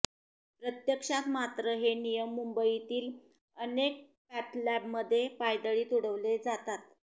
प्रत्यक्षात मात्र हे नियम मुंबईतील अनेक पॅथलॅबमध्ये पायदळी तुडवले जातात